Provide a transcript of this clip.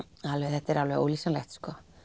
þetta er alveg ólýsanlegt